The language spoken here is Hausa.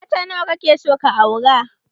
Mata nawa ka ke so ka aura?